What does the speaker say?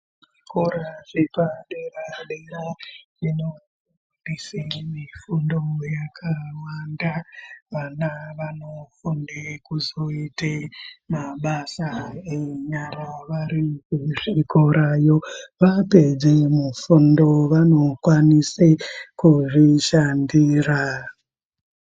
Kora zvepadera dera zvinofundise mufundo yakawanda vana vanofunde kuzoite mabasa enyara variyo kuzvikorayo vapedze mufundo vanokwanise kuzvishandira.